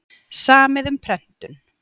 Samið um prentun